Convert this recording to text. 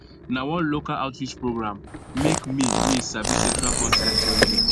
na one local outreach program make me me sabi sexual consent well well